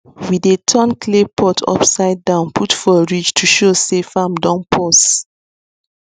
we dey turn clay pot upside down put for ridge to show say farm don pause